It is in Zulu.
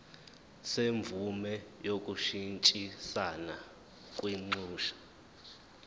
semvume yokushintshisana kwinxusa